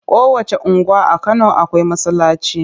Kowacce unguwa a garin Kano akwai masallaci.